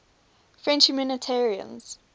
french humanitarians